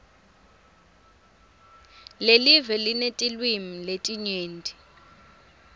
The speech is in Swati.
lelive linetilwimi letinyenti